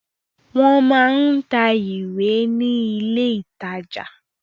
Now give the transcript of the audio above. Wọ́n máa ń tà ìwé ní ilé-ìtajà.